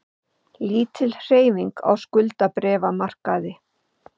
Lítil hreyfing á skuldabréfamarkaði